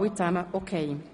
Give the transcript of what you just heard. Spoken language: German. Das ist der Fall.